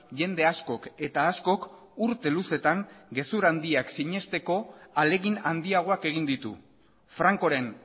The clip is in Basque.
jende askok eta askok urte luzetan gezur handiak sinesteko ahalegin handiagoak egin ditu francoren